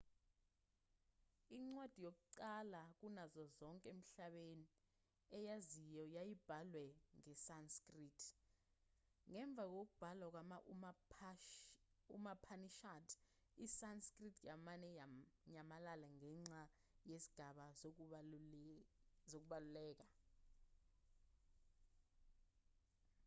incwadi yakuqala kunazo zonke emhlabeni eyaziwayo yayibhalwe ngesanskrit ngemva kokubhalwa kwama-upanishad isanskrit yamane yanyamalala ngenxa yezigaba zokubaluleka